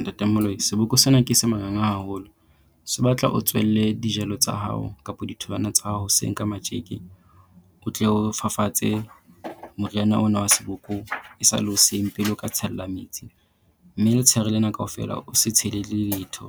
Ntate Moloi seboko sena ke se manganga haholo, se batla o tsohelle dijalo tsa hao kapo ditholwana tsa hao hoseng ka matjeke, o tle o fafatse moriana ona wa seboko e sa le hoseng pele o ka tshella metsi. Mme letsheare lena kaofela o se tshele le letho